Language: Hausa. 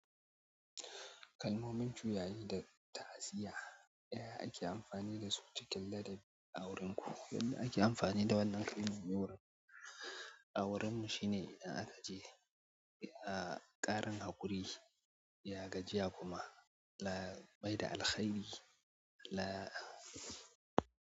Kalmomin juyayi da ta'aziyya, da ake amfani da su cikin ladabi a wurinku. Yanda ake amfani da wannan kalmomin wurin auren mu shine idan aka je, ya ƙarin haƙuri, ya gajiya kuma bai da alkhairi la.